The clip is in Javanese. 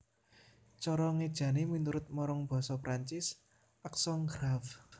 Cara ngéjané miturut marang basa Perancis accent grave